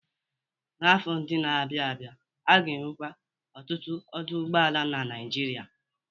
N'afọ ndị na-abịa abịa, a ga-enwekwu ọtụtụ ọdụ ụgbọala na Nigeria.